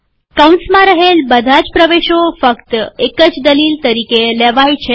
કૌંસમાં રહેલ બધા જ પ્રવેશો ફક્ત એક જ દલીલ તરીકે લેવાય છે